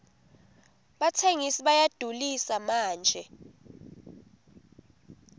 batsengisi bayadulisa manje